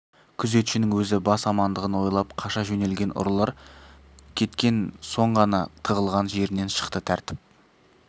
күзетшінің өзі бас амандығын ойлап қаша жөнелген ұрылар кеткен соң ғана тығылған жерінен шықты тәртіп